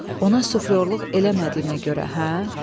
Ona suflyorluq eləmədiyimə görə, hə?